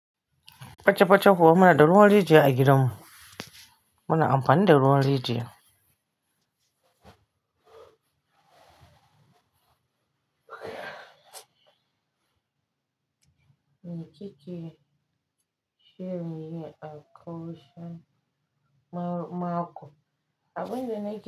Paca paca ko muna da ruwan rijiya a gidan mu. Muna amfani da ruwan rijiya. Mei kike shirrin Memunat a karshen mako. Abin da nake.